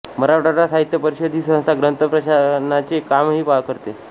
मराठवाडा साहित्य परिषद ही संस्था ग्रंथ प्रकाशनाचे कामही करते